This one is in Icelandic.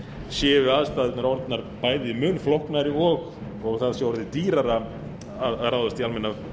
séu aðstæðurnar orðnar bæði mun flóknari og það sé orðið dýrara að ráðast í almenna